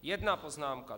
Jedna poznámka.